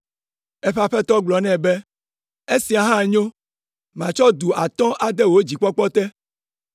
Eƒe aƒetɔ gblɔ nɛ be, ‘Esia hã nyo! Matsɔ du atɔ̃ ade wò dzikpɔkpɔ te.’